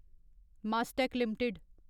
Mastek limited